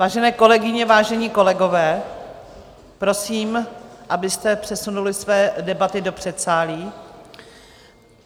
Vážené kolegyně, vážení kolegové, prosím, abyste přesunuli své debaty do předsálí.